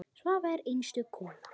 Svava er einstök kona.